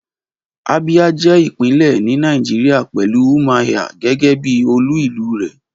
Abia je ipinle ni Nàìjíríà pelu Umuahia gege bi olú ìlú re.